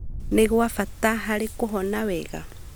nĩ gwa bata harĩ kũhona wega.